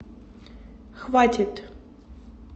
хватит